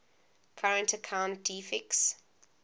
current account deficits